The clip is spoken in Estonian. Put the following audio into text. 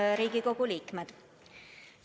Head Riigikogu liikmed!